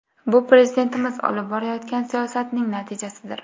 Bu Prezidentimiz olib borayotgan siyosatning natijasidir.